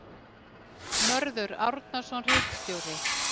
Mörður Árnason ritstjóri.